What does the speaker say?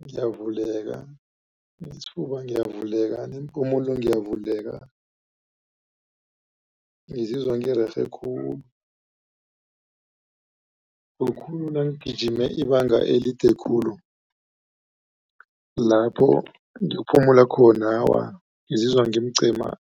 ngiyavuleka nesifuba, ngiyavuleka neempumulo ngiyavuleka ngizizwa ngirerhe khulu nangigijime ibanga elide khulu lapho ngiphumelele khona ngizizwa ngimcemani.